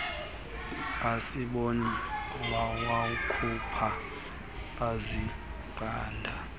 asibone wawakhupha azingqanda